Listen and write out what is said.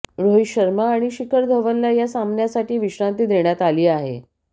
रोहित शर्मा आणि शिखर धवनला या सामन्यासाठी विश्रांती देण्यात आली आहे